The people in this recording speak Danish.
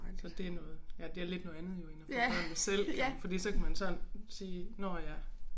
Så det noget ja det er lidt noget andet jo end at få børnene selv fordi så kan man sådan sige nåh ja